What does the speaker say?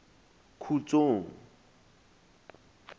khutsong